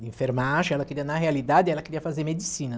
enfermagem, ela queria, na realidade, ela queria fazer medicina.